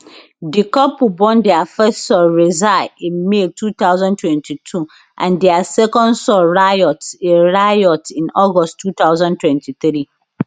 di couple born dia first son rza in may twenty twenty two and dia second son riot in riot in august twenty twenty-three